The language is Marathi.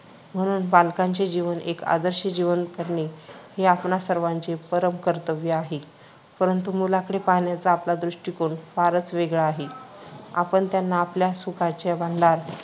म्हणून बालकांचे जीवन एक आदर्श जीवन करणे हे आपणा सर्वांचे परमकर्तव्य आहे, परंतु मुलांकडे पाहण्याचा आपला दृष्टिकोन फारच वेगळा आहे. आपण त्यांना आपल्या सुखाचे भांडार